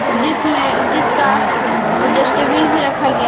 जिसमें जिसका डस्टबिन भी रखा गया--